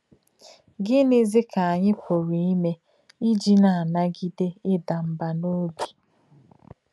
Gínízì um kà ányị̀ pùrù ímè um ìjì nà-ànagídè ìdà mbà n’òbí?